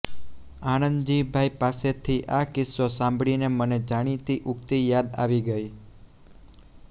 આણંદજીભાઈ પાસેથી આ કિસ્સો સાંભળીને મને જાણીતી ઉક્તિ યાદ આવી ગઈ